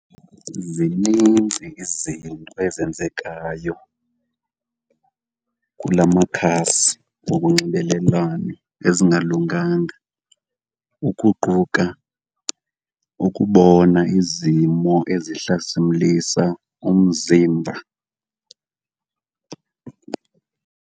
Zinintsi izinto ezenzekayo kula makhasi wokunxibelelwano ezingalunganga ukuquka ukubona izimo ezihlasimlisa umzimba.